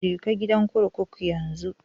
Je ka gidan kurkuku yanzu